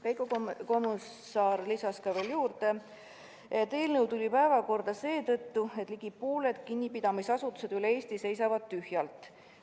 Veiko Kommusaar lisas veel, et eelnõu tõusis päevakorrale seetõttu, et ligi pooled kinnipidamisasutused üle Eesti seisavad tühjalt.